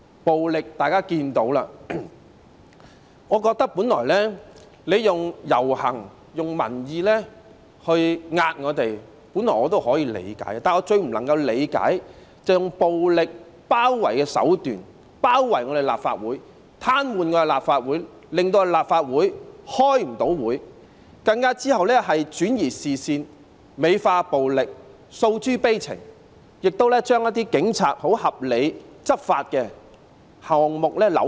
暴力方面，大家也可以看得到，我認為用遊行、民意向我們施壓，本來也可以理解，但我最不能理解的是用暴力包圍的手段，包圍立法會、癱瘓立法會，令立法會無法開會，之後更轉移視線，美化暴力，訴諸悲情，更將警察合理執法的行動扭曲。